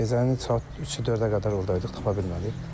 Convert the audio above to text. Gecəni saat 3-ü 4-ə qədər orda idik, tapa bilmədik.